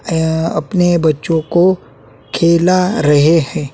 यह अपने बच्चों को खेला रहे हैं।